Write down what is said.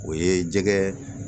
O ye jɛgɛ